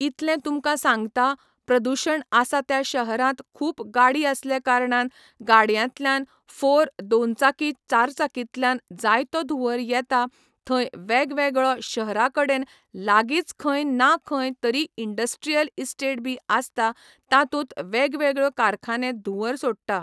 इतलें तुमकां सांगता प्रदूशण आसा त्या शहरांत खूब गाडी आसले कारणान गाडयांतल्यान फोर दोनचाकी चारचाकीतल्यान जायतो धुंवर येता थंय वेगवेगळो शहरां कडेन लागींच खंय ना खंय तरी इंडस्ट्रीयल इस्टेट बी आसता तातूंत वेगवेगळ्यो कारखाने धुंवर सोडटा